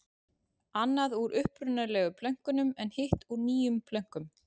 Annað úr upprunalegu plönkunum en hitt úr nýjum plönkum.